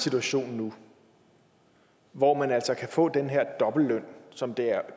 situation nu hvor man kan få den her dobbeltløn som der